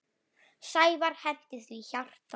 Sævar henti því hjarta.